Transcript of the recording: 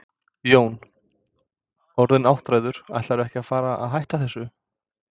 Jón: Orðinn áttræður, ætlarðu ekkert að fara að hætta þessu?